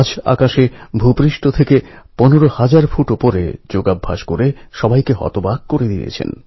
আমাদের স্কুলের বোর্ডপরীক্ষার সময় আপনি এক্জাম স্ট্রেস এবং এডুকেশনের কথা বলেছিলেন